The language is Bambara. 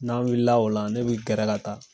N'an wulila o la , ne bi gɛrɛ ka taa